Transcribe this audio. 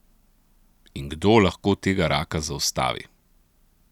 In kdo lahko tega raka zaustavi.